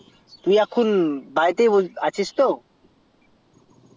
তুই এখন বাড়িতেই আছিস তো